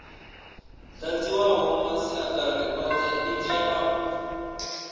dadziwaho masiatari othe itea u